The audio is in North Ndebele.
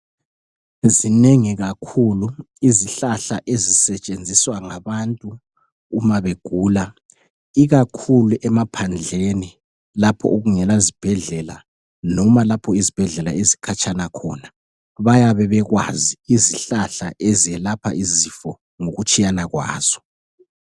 Zinengi kakhulu izihlahla ezisetshenziswa ngabathu uma begula. Ikakhulu emaphandleni lapho okungela zibhedlela noma lapho izibhedlela zikhatshana khona. Bayabe bekwazi izihlahla ezelapha izifo ngokutshiyana kwazo